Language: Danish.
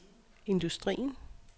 industrien